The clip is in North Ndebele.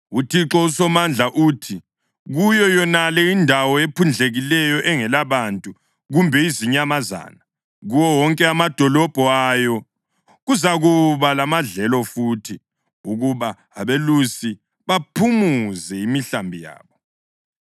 UThixo uSomandla uthi, ‘Kuyo yonale indawo ephundlekileyo, engelabantu kumbe izinyamazana, kuwo wonke amadolobho ayo kuzakuba lamadlelo futhi ukuba abelusi baphumuze imihlambi yabo.